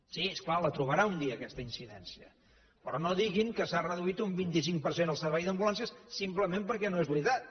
sí és clar la trobarà un dia aquesta incidència però no diguin que s’ha reduït un vint cinc per cent el servei d’ambulàncies simplement perquè no és veritat